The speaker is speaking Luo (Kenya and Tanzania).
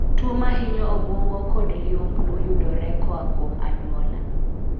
Tuo mahinyo obwongo kod liumblu yudore koa kuom anyuola